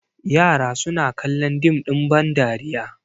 yara suna kallon dim ɗin bandariya